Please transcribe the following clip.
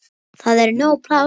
Það er nóg pláss.